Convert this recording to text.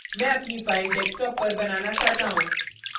मैं अपनी file desktop पर बनाना चाहता हूँ